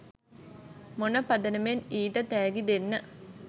මොන පදනමෙන් ඊට තෑගි දෙන්න